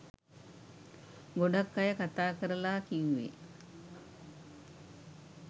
ගොඩක් අය කතා කරලා කිව්වේ